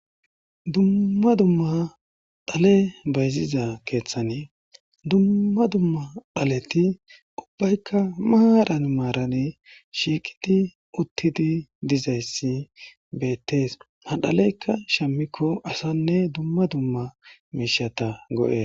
dumma dumma dhale bayziza keeththane dumma dumma phaleti ubbaykka maadhan maarane shiiqidi uttidi dizayssi beettees madhaleyka shammikko asanne dumma dumma meishata go7es